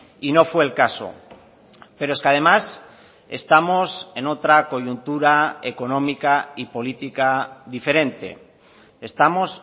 y no fue el caso pero es que además estamos en otra coyuntura económica y política diferente estamos